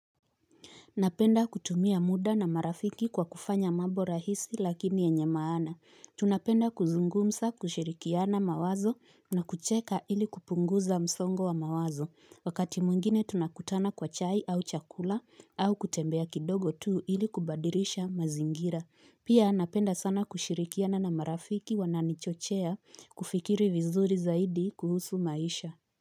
Napenda kutumia muda na marafiki kwa kufanya mambo rahisi lakini yenye maana. Tunapenda kuzungumsa kushirikiana mawazo na kucheka ili kupunguza msongo wa mawazo. Wakati mwungine tunakutana kwa chai au chakula au kutembea kidogo tu ili kubadilisha mazingira. Pia napenda sana kushirikiana na marafiki wananichochea kufikiri vizuri zaidi kuhusu maisha.